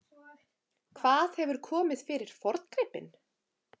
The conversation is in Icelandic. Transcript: Hvað hefur komið fyrir forngripinn?